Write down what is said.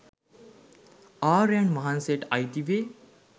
ආර්යයන් වහන්සේට අයිති වේ.